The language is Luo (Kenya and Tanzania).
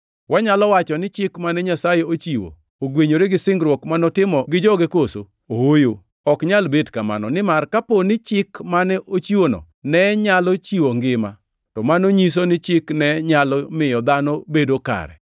Wanyalo wacho ni Chik mane Nyasaye ochiwo ogwenyore gi singruok ma notimo gi joge koso? Ooyo, ok nyal bet kamano. Nimar kapo ni Chik mane ochiwno ne nyalo chiwo ngima to mano nyiso ni Chik ne nyalo miyo dhano bedo kare.